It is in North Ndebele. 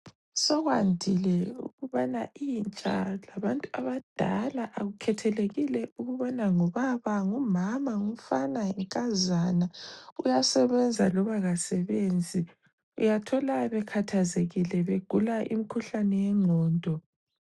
Sokwandile ukubana intsha labantu abadala akukhethelekile ukubana ngubaba , ngumama, ngumfana ,yinkazana , uyasebenza loba kasebenzi, uyathola bekhathazekile begula imikhuhlane yengqondo.